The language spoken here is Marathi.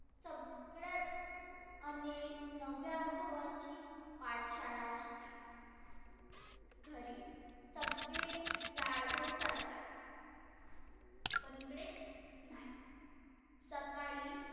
सगळ्यात अनेक नव्या अनुभवाची पाठशाळा असते. घरी सगळे लाड गोड चालतात. पण इकडे नाही. सकाळी